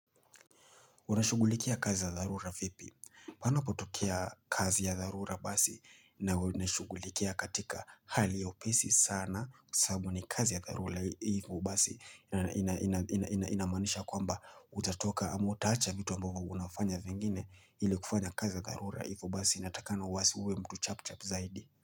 Unashugulikia kazi ya dharura vipi. Panapotokea kazi ya darura basi na unashugulikia katika hali ya upesi sana sahabu ni kazi ya dharura hivo basi inamanisha kwamba utatoka ama hutacha vitu ambayo unafanya zingine ili kufanya kazi ya darura hivu basi inatakana wasi huwe mtu chap chap zaidi.